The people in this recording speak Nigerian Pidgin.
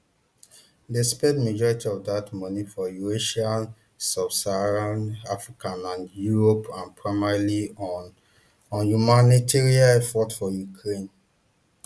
dem spend majority of dat money for eurasia subsaharan africa and europe and primarily on on humanitarian efforts for ukraine